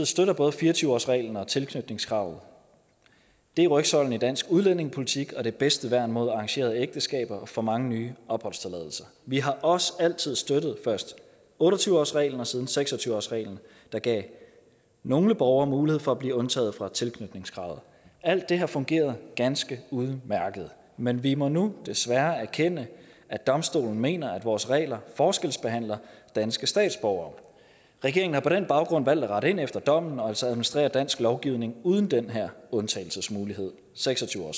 støtter både fire og tyve årsreglen og tilknytningskravet det er rygsøjlen i dansk udlændingepolitik og det bedste værn mod arrangerede ægteskaber og for mange nye opholdstilladelser vi har også altid støttet først otte og tyve årsreglen og siden seks og tyve årsreglen der gav nogle borgere mulighed for at blive undtaget fra tilknytningskravet alt det her fungerede ganske udmærket men vi må jo desværre erkende at domstolen mener at vores regler forskelsbehandler danske statsborgere regeringen har på den baggrund valgt at rette ind efter dommen og altså administrere dansk lovgivning uden den her undtagelsesmulighed seks og